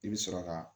I bɛ sɔrɔ ka